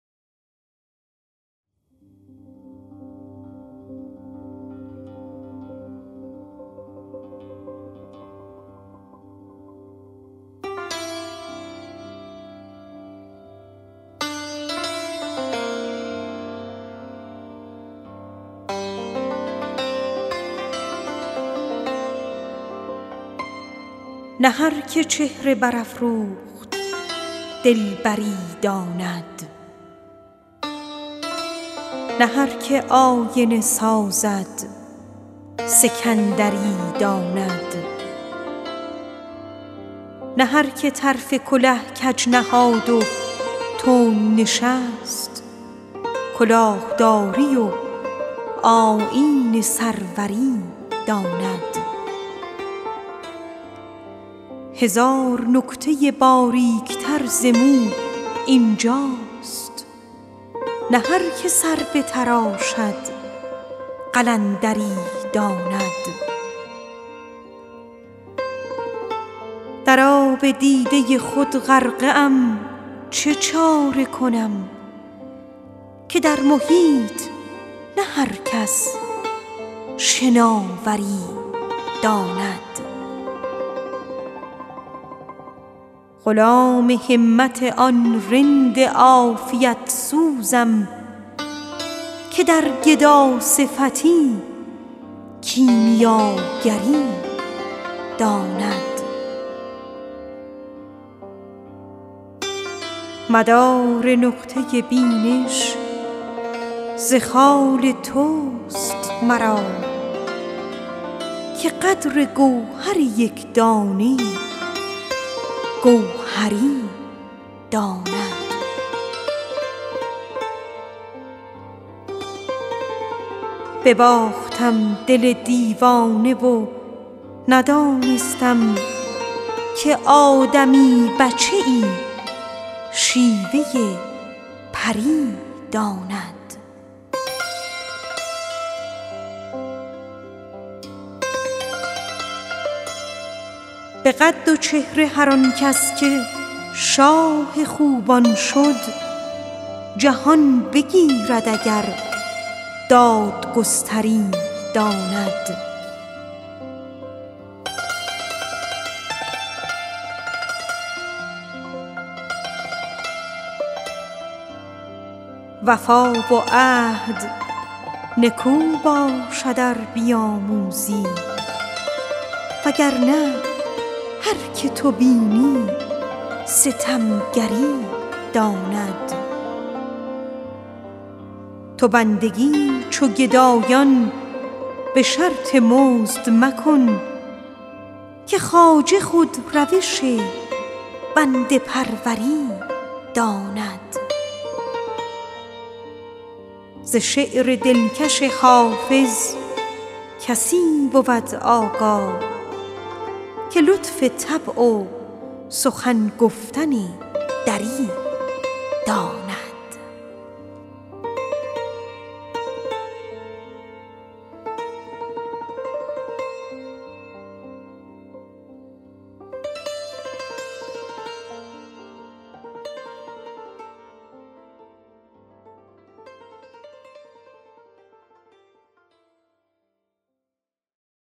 نه هر که چهره برافروخت دلبری داند نه هر که آینه سازد سکندری داند نه هر که طرف کله کج نهاد و تند نشست کلاه داری و آیین سروری داند تو بندگی چو گدایان به شرط مزد مکن که دوست خود روش بنده پروری داند غلام همت آن رند عافیت سوزم که در گداصفتی کیمیاگری داند وفا و عهد نکو باشد ار بیاموزی وگر نه هر که تو بینی ستمگری داند بباختم دل دیوانه و ندانستم که آدمی بچه ای شیوه پری داند هزار نکته باریک تر ز مو این جاست نه هر که سر بتراشد قلندری داند مدار نقطه بینش ز خال توست مرا که قدر گوهر یک دانه جوهری داند به قد و چهره هر آن کس که شاه خوبان شد جهان بگیرد اگر دادگستری داند ز شعر دلکش حافظ کسی بود آگاه که لطف طبع و سخن گفتن دری داند